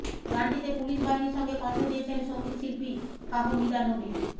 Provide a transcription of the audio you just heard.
গানটিতে পুলিশ বাহিনীর সঙ্গে কণ্ঠ দিয়েছেন সংগীতশিল্পী ফাহমিদা নবী